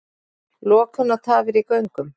Lokun og tafir í göngum